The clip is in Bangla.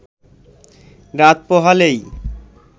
রাত পোহালেই